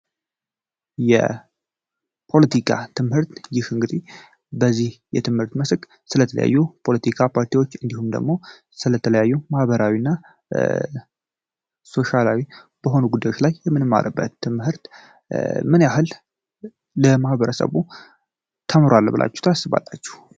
የፖለቲካ ትምህርት እንግዲህ ስለ የተለያዩ ፖለቲካ ፓርቲዎች ስለተለያዩ ማህበረሰቦች ማህበራዊና ሶሻላዊ ስለሆኑ ነገሮች የምንማርበት ትምህርት ምን ያህል ለማህበረሰቡ ተምሯል ብላችሁ ታስባላችሁ?